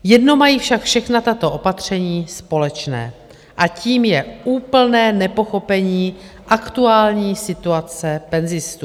Jedno mají však všechna tato opatření společné - a tím je úplné nepochopení aktuální situace penzistů.